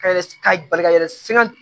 bali ka yɛlɛ